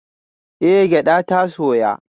Eh gyada ta soya